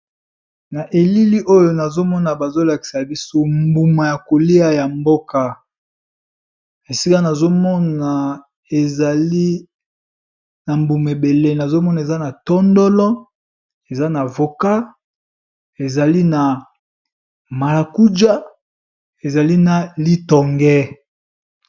Na elili oyo nazomona bazolakisa biso mbuma ya kolia ya mboka esika nazomona ezali na mbuma ebele nazomona eza na tondolo eza na voka ezali na marakuja ezali na litonge.